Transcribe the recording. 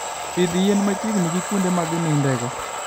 Pidh yien machiegni gi kuonde ma ginindego.